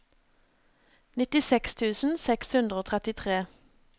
nittiseks tusen seks hundre og trettitre